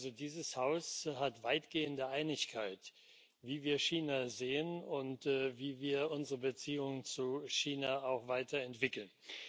Also, dieses Haus hat weitgehende Einigkeit, wie wir China sehen und wie wir unsere Beziehung zu China auch weiterentwickeln.